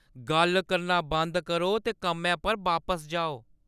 गल्ल करना बंद करो ते कम्मै पर बापस जाओ!